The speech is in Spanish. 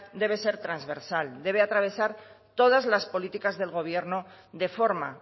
debe ser transversal debe atravesar todas las políticas del gobierno de forma